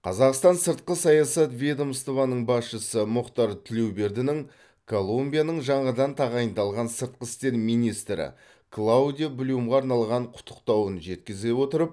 қазақстан сыртқы саясат ведомствоның басшысы мұхтар тілеубердінің колумбияның жаңадан тағайындалған сыртқы істер министрі клаудиа блюмға арналған құттықтауын жеткізе отырып